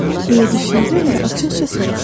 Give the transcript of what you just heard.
Deyə düşündüm və açıqca soruşdum.